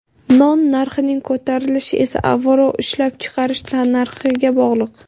Non narxining ko‘tarilishi esa, avvalo, ishlab chiqarish tannarxiga bog‘liq.